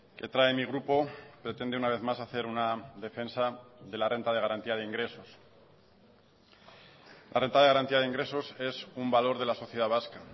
que trae mi grupo pretende una vez más hacer una defensa de la renta de garantía de ingresos la renta de garantía de ingresos es un valor de la sociedad vasca